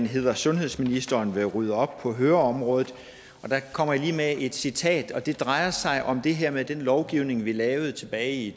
hedder sundhedsminister vil rydde op på høreområdet der kommer jeg lige med et citat og det drejer sig om det her med den lovgivning vi lavede tilbage i